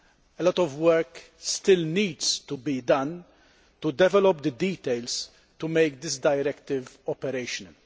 A lot of work still needs to be done to develop the details to make this directive operational.